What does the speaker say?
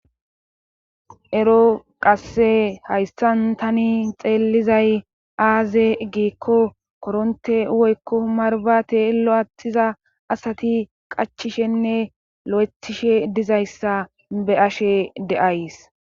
ero qasse hayssan tani xeellizay aaze giikko koronte woykko marbate lo7attiza asati qachishenne lo7etishe dizayssa be ashe deays